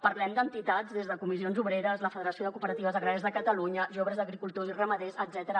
parlem d’entitats com comissions obreres la federació de cooperatives agràries de catalunya joves agricultors i ramaders etcètera